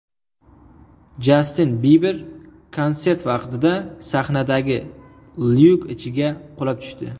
Jastin Biber konsert vaqtida sahnadagi lyuk ichiga qulab tushdi .